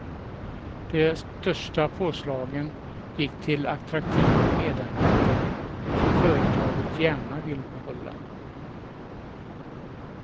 De största påslagen gick till attraktiva medarbetare som företaget gärna vill behålla.